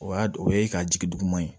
O y'a don o ye ka jigi duguman ye